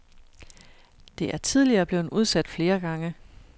Det er tidligere blevet udsat flere gange.